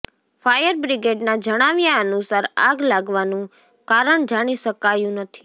fire બ્રિગેડના જણાવ્યા અનુસાર આગ લાગવાનું કારણ જાણી શકાયું નથી